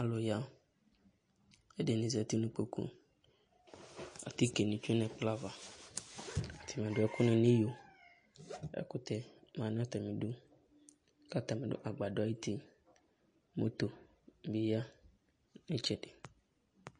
alʊya ɛdini zati nu ikpoku atikɛni tsɛnu ɛkpɔava kadu ɛkuna nu iyɔ ɛkutɛ nanu iyɔ katanibi ku itsɛdi